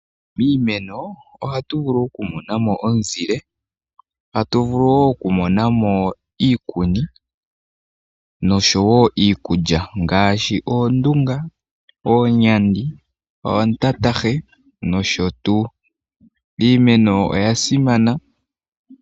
Miimeno ohatu vulu oku monamo omu zile, tatu vulu wo oku monamo nosho wo iikulya ngaashi oondunga, oonyandi, oontantahe nsh. Iimeno oya simana.